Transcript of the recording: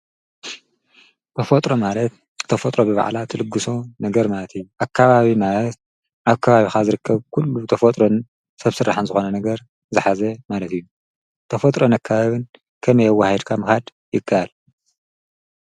ተፈጥሮ ማለት ተፈጥሮ ብባዕላ ትልግሶ ነገር ማለት እዩ፡፡ ኣከባቢ ማለት ኣብ ከባቢኻ ዝርከብ ኲሉ ተፈጥሮን ሰብ ስራሐን ዝኾነ ነገር ዝሓዘ ማለት እዩ፡፡ ተፈጥሮን ኣከባብን ከመይ ኣዋሃሂድካ ምኻድ ይካኣል?